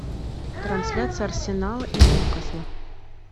трансляция арсенала и ньюкасла